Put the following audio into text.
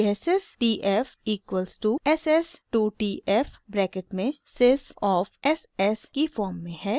यह sys tf equals to ss 2 tf bracket में sys of ss की form में है